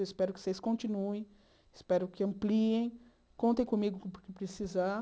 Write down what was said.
Eu espero que vocês continuem, espero que ampliem, contem comigo com o que precisar.